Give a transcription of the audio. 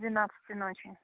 двенадцати ночи